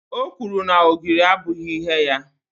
o kwuru na ogiri abụghị ihe ya